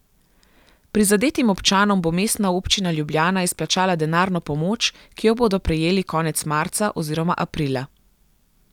Prizadetim občanom bo Mestna občina Ljubljana izplačala denarno pomoč, ki jo bodo prejeli konec marca oziroma aprila.